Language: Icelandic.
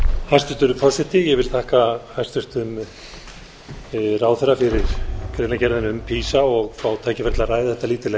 hæstvirtur forseti ég vil þakka hæstvirtum ráðherra fyrir greinargerðina um pisa og fá tækifæri til að ræða þetta lítillega hér um leið